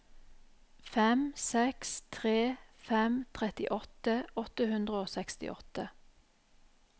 fem seks tre fem trettiåtte åtte hundre og sekstiåtte